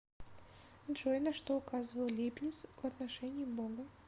джой на что указывал лейбниц в отношении бога